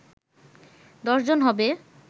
১০ জন হবে